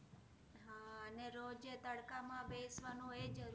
હા ને રોજે તડકામાં બેસવાનું એ જ